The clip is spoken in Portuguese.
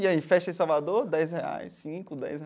E aí, festa em Salvador, dez reais, cinco, dez.